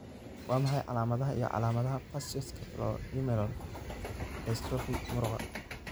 Waa maxay calaamadaha iyo calaamadaha Facioscapulohumeral dystrophy muruqa?